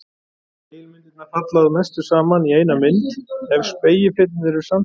Spegilmyndirnar falla að mestu saman í eina mynd ef spegilfletirnir eru samsíða.